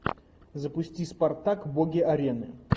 запусти спартак боги арены